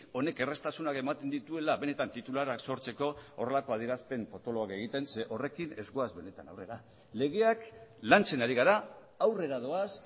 honek erraztasuna ematen dituela benetan titularra sortzeko horrelako adierazpen potoloak egiten zeren horrekin ez goaz benetan legeak lantzen ari gara aurrera doaz